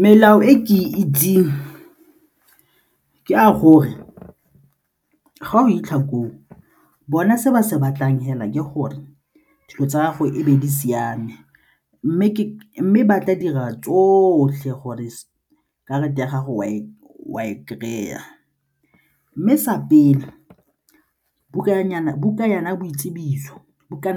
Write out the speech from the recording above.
Melao e ke itseng ke ya gore ga o fitlha koo, bona se ba se batlang fela ke gore dilo tsa'ago e be di siame mme ba tla dira tsotlhe gore karata ya gago o a e kry-a mme sa pele bukana